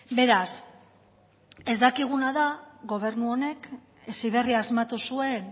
beraz ez dakiguna da gobernu honek heziberri asmatu zuen